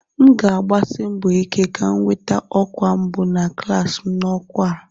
M ga-agbasi mbọ ike ka m nweta ọkwa mbụ na klas m n'okwu a.